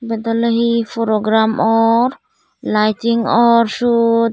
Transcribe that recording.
eyot oley he program or liting or seyot.